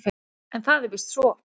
En það er víst svo.